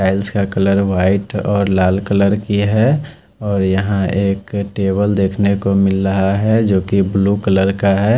Tiles का colour white और लाल कलर की है और यहाँ एक टेबल देख नेको मिल रहा है जो की ब्लू कलर का है।